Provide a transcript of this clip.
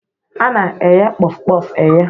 A na eghe Kpof-kpof e ghe.